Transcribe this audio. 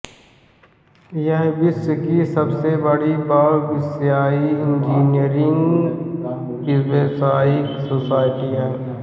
यह विश्व की सबसे बड़ी बहुविषयी इंजीनियरी व्यावसायिक सोसायटी है